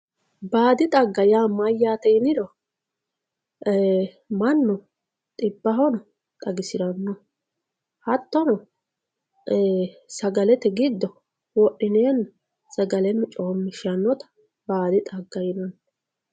baadi xagga yaa mayyate yiniro mannu xibbahono xagisiranno hattono sagalete giddo wodhineenna sagaleno coommishshannota baadi xagga yinanni.